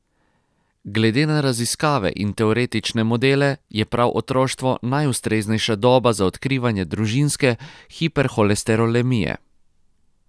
Glede na raziskave in teoretične modele je prav otroštvo najustreznejša doba za odkrivanje družinske hiperholesterolemije.